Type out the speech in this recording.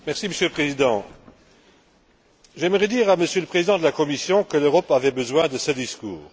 Monsieur le Président, j'aimerais dire à Monsieur le Président de la Commission que l'Europe avait besoin de ce discours.